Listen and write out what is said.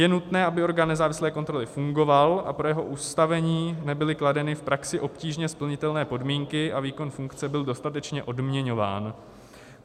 Je nutné, aby orgán nezávislé kontroly fungoval a pro jeho ustavení nebyly kladeny v praxi obtížně splnitelné podmínky a výkon funkce byl dostatečně odměňován.